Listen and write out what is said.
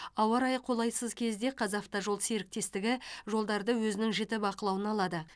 ауа райы қолайсыз кезде қазавтожол серіктестігі жолдарды өзінің жіті бақылауына алады